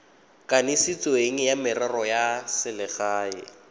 kanisitsweng wa merero ya selegae